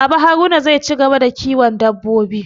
Baba Haruna zai ci gaba da kiwon dabbobi